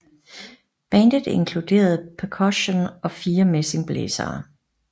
Bandet inkluderede percussion og fire messingblæsere